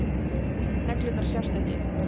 Neglurnar sjást ekki.